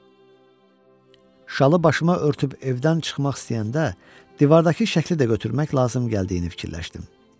Şalı başıma örtüb evdən çıxmaq istəyəndə divardakı şəkli də götürmək lazım gəldiyini fikirləşdim.